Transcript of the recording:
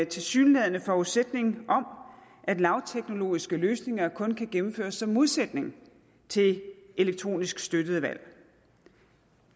tilsyneladende forudsætning om at lavteknologiske løsninger kun kan gennemføres som en modsætning til elektronisk støttede valg